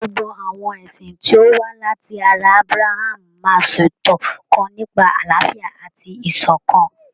Gbogbo àwọn ẹ̀sìn tí ó wà láti ará Ábráhámù máa ṣètò kan nípa àláfíà àti ìṣọ̀kan.